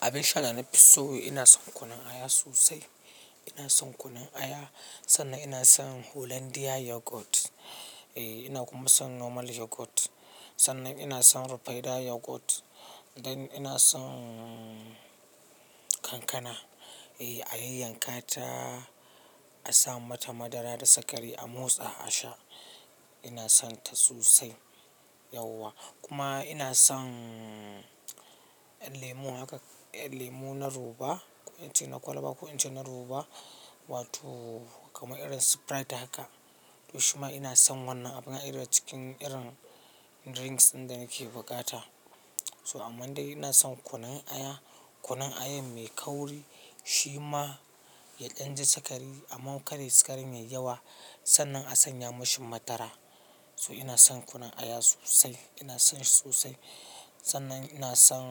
Abin sha da na fi so ina son kunun aya sosai. Ina son kunun aya sannan ina son Hollandia Yogurt. Eh ina kuma son normal Yogurt sannan ina son Rufaidah Yogurt. Dan ina son kankana. Eh a yayankata, a sa mata madara da sakari a motsa a sha. Ina son ta sosai yauwa. Kuma ina son ɗan lemun haka, ɗan lemu na roba ko in ce na kwalba ko in ce na roba, wato kamar irin sprite haka. To shima ina son wannan abin a irin cikin irin drinks ɗin da nake bukata. To aman dai ina son kunun aya. Kunun ayan mai kauri shi ma ya ɗan ji sakari amma ƙari sakarin ya yi yawa sannan a sanya mashi madara. To ina son kunun aya sosai, ina son shi sosai sannan ina son,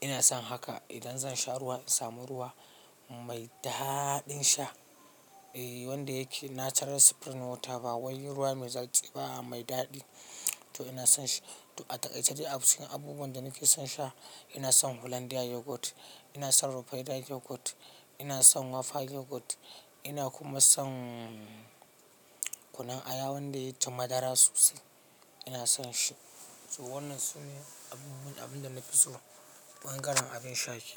ina son haka idan zan sha ruwa in sami ruwa mai daɗin sha. Eh wanda yake natural spring water ba wai ruwa mai zafi ba a mai daɗi. To ina son shi. To a takaice dai a cikin abubuwan da nake son sha ina son Hollandia Yogurt, ina son Rufaidah Yogurt, ina son Wafa Yogurt ina kuma son kunun aya wanda ya ci madara sosai. Ina son shi. To wannan sune abubuwan, abin da na fi so bangaren abin sha ke.